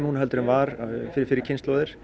en var fyrir fyrri kynslóðir